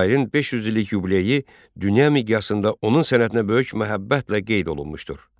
Şairin 500 illik yubileyi dünya miqyasında onun sənətinə böyük məhəbbətlə qeyd olunmuşdur.